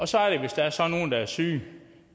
så er der så nogle der er syge